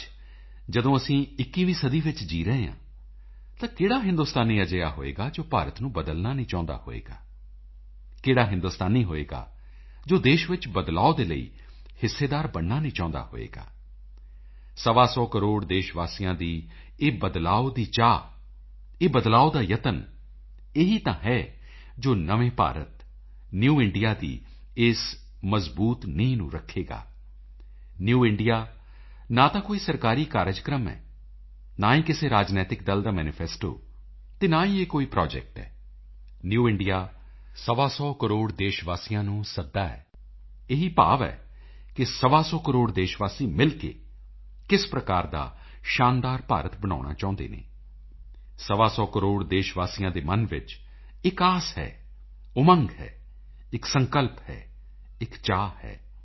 ਅੱਜ ਜਦੋਂ ਅਸੀਂ 21ਵੀਂ ਸਦੀ ਵਿੱਚ ਜੀਅ ਰਹੇ ਹਾਂ ਤਾਂ ਕਿਹੜਾ ਹਿੰਦੁਸਤਾਨੀ ਅਜਿਹਾ ਹੋਵੇਗਾ ਜੋ ਭਾਰਤ ਨੂੰ ਬਦਲਣਾ ਨਹੀਂ ਚਾਹੁੰਦਾ ਹੋਵੇਗਾ ਕਿਹੜਾ ਹਿੰਦੁਸਤਾਨੀ ਹੋਵੇਗਾ ਜੋ ਦੇਸ਼ ਵਿੱਚ ਬਦਲਾਓ ਦੇ ਲਈ ਹਿੱਸੇਦਾਰ ਬਣਨਾ ਨਹੀਂ ਚਾਹੁੰਦਾ ਹੋਵੇਗਾ ਸਵਾ ਸੌ ਕਰੋੜ ਦੇਸ਼ ਵਾਸੀਆਂ ਦੀ ਇਹ ਬਦਲਾਓ ਦੀ ਚਾਹ ਇਹ ਬਦਲਾਓ ਦਾ ਯਤਨ ਇਹੀ ਤਾਂ ਹੈ ਜੋ ਨਵੇਂ ਭਾਰਤ ਨਿਊ ਇੰਡੀਆ ਇਸ ਦੀ ਮਜ਼ਬੂਤ ਨੀਂਹ ਰੱਖੇਗਾ ਨਿਊ ਇੰਡੀਆ ਨਾ ਤਾਂ ਕੋਈ ਸਰਕਾਰੀ ਕਾਰਜਕ੍ਰਮ ਹੈ ਨਾ ਹੀ ਕਿਸੇ ਰਾਜਨੀਤਿਕ ਦਲ ਦਾ ਮੈਨੀਫੈਸਟੋ ਅਤੇ ਨਾ ਹੀ ਇਹ ਕੋਈ ਪ੍ਰੋਜੈਕਟ ਹੈ ਨਿਊ ਇੰਡੀਆ ਸਵਾ ਸੌ ਕਰੋੜ ਦੇਸ਼ ਵਾਸੀਆਂ ਨੂੰ ਸੱਦਾ ਹੈ ਇਹੀ ਭਾਵ ਹੈ ਕਿ ਸਵਾ ਸੌ ਕਰੋੜ ਦੇਸ਼ ਵਾਸੀ ਮਿਲ ਕੇ ਕਿਸ ਪ੍ਰਕਾਰ ਦਾ ਸ਼ਾਨਦਾਰ ਭਾਰਤ ਬਣਾਉਣਾ ਚਾਹੁੰਦੇ ਹਨ ਸਵਾ ਸੌ ਕਰੋੜ ਦੇਸ਼ ਵਾਸੀਆਂ ਦੇ ਮਨ ਵਿੱਚ ਇਕ ਆਸ ਹੈ ਇਕ ਉਮੰਗ ਹੈ ਇਕ ਸੰਕਲਪ ਹੈ ਇਕ ਚਾਹ ਹੈ